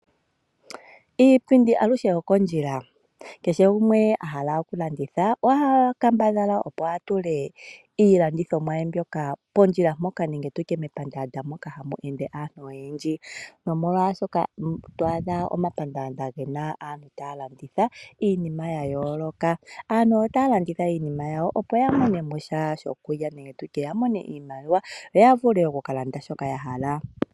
Iipindi aluhe okondjila, kehe gumwe a hala oku landitha oha kambadhala opo a tule iilandithomwa ye mbyoka pondjila mpoka nenge tutye mepandaanda moka hamu ende aantu oyendji. Nomolwaashoka twaadha omapandaanda gena aantu taya landitha iinima ya yooloka. Aantu otaya landitha iinima yawo opo ya mone mo sha shokulya nenge iimaliwa yo ya vule oku ka landa shoka ya hala.